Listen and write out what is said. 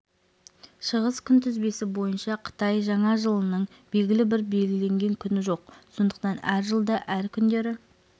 шығыс күнтізбесі бойынша қытай жаңа жылының белгілі бір белгіленген күні жоқ сондықтан әр жылда әр күндері